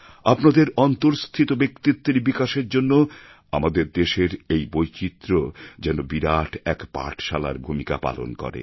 আপনাদের অন্তরস্থিত ব্যক্তিত্বের বিকাশের জন্য আমাদের দেশের এই বৈচিত্র্য যেন বিরাট এক পাঠশালার ভূমিকা পালন করে